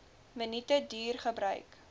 minute duur gebruik